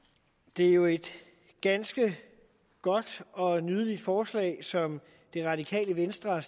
det er jo et ganske godt og nydeligt forslag som det radikale venstre har